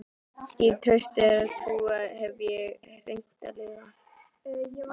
Í trausti þeirrar trúar hef ég reynt að lifa.